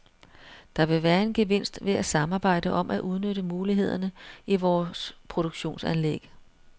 Der vil være en gevinst ved at samarbejde om at udnytte mulighederne i vores produktionsanlæg.